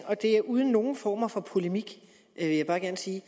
og det er uden nogen former for polemik vil jeg bare gerne sige